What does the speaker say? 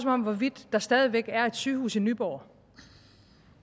om hvorvidt der stadig væk er et sygehus i nyborg